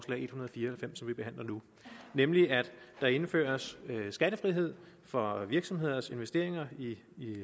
fire og halvfems som vi behandler nu nemlig at der indføres skattefrihed for virksomheders investeringer i